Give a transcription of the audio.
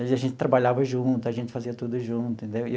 A gente trabalhava junto, a gente fazia tudo junto, entendeu?